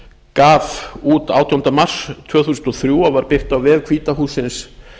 gaf út átjánda mars tvö þúsund og þrjú og var birt á vef hvíta hússins